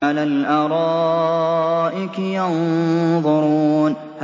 عَلَى الْأَرَائِكِ يَنظُرُونَ